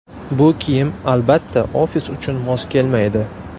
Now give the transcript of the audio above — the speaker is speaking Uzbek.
Bu kiyim, albatta, ofis uchun mos kelmaydi.